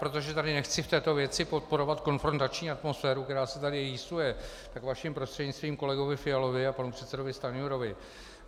Protože tady nechci v této věci podporovat konfrontační atmosféru, která se tady rýsuje, tak vaším prostřednictvím kolegovi Fialovi a panu předsedovi Stanjurovi: